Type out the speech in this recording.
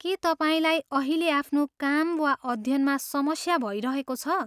के तपाईँलाई अहिले आफ्नो काम वा अध्ययनमा समस्या भइरहेको छ?